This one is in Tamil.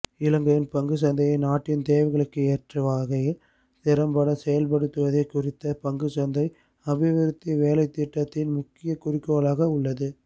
இலங்கையின் பங்குச்சந்தையை நாட்டின் தேவைகளுக்கு ஏற்ற வகையில் திறம்பட செயற்படுத்துவதே குறித்த பங்குச்சந்தை அபிவிருத்தி வேலைத்திட்டத்தின் முக்கிய குறிக்கோளாக உள்ளது